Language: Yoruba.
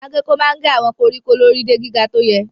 Agéko máa ń gé àwọn koríko lórí de gíga tó yẹ.